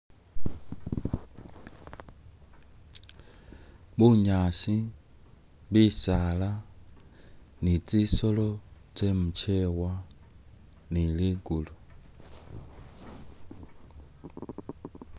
Bunyaasi, bisaala ni'tsisolo tsemu chewa ni' ligulu